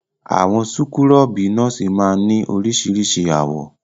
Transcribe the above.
Àwọn súkúrọ́bì nọ́ọ́sì máa ń ní oríṣiríṣi àwọ̀.